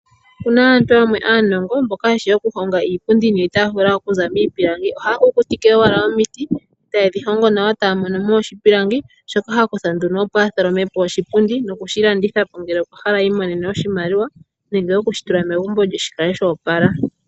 Opuna aantu yamwe aanongo mboka yeshi okuhonga iipundi niitaafula okuza miipilangi. Ohaya kukutike owala omiti e taye dhi hongo nawa taya mono mo oshipilangi shoka ha kutha nduno opo a tholome po oshipundi nokushilanditha po ngele okwahala i imonene oshimaliwa nege okushitula megumbo lye shi kale sho opala.